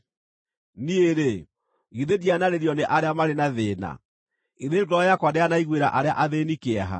Niĩ-rĩ, githĩ ndianarĩrio nĩ arĩa marĩ na thĩĩna? Githĩ ngoro yakwa ndĩanaiguĩra arĩa athĩĩni kĩeha?